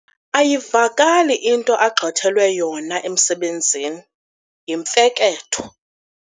Ayivakali into agxothelwe yona emsebenzini, yimfeketho.